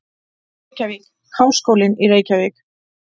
Reykjavík: Háskólinn í Reykjavík.